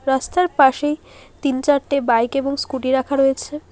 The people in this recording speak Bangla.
রাস্তার পাশেই তিনচারটে বাইক এবং স্কুটি রাখা রয়েছে।